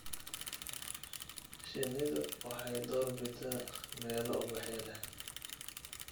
Shinnidu waxay door bidaa meelo ubaxyo leh.